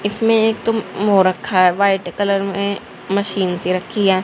इसमें एक तुम वो रखा है व्हाइट कलर में मशीन से रखी है।